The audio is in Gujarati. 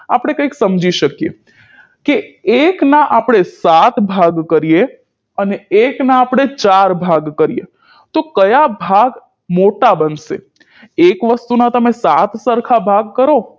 આપણે કઈક સમજી શકીએ કે એકના આપણે સાત ભાગ કરીએ અને એકના આપણે ચાર ભાગ કરીએ તો કયા ભાગ મોટા બનશે એક વસ્તુના તમે સાત સરખા ભાગ કરો